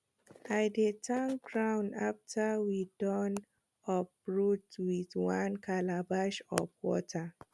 i dey thank ground after we don uproot with one calabash of water